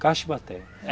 Caixa e bateia.